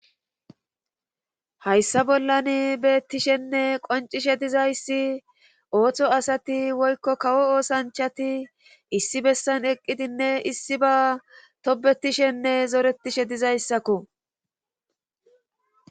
Hayssa bollan beettishenne qoncishe dizayssi ooththo asati woykko kawo oosanchati issi bessan eqqidinne issi ba tobetishenne zoretishe dizayssakko.